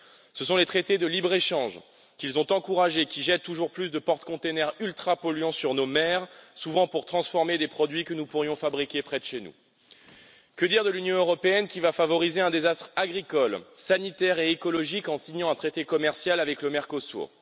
Ce sont les traités de libre échange qu'ils ont encouragés qui jettent toujours plus de porte containers ultra polluants sur nos mers, souvent pour transformer des produits que nous pourrions fabriquer près de chez nous. Que dire de l'Union européenne qui va favoriser un désastre agricole, sanitaire et écologique en signant un traité commercial avec le Mercosur.